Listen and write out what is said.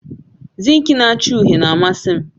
Zinki na acha uhie na-amasi m